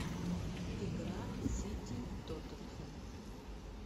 игра сити тоттенхэм